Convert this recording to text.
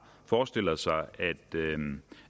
forestiller sig